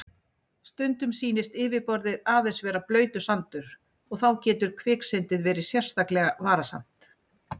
Stundum sýnist yfirborðið aðeins vera blautur sandur og þá getur kviksyndið verið sérlega varasamt.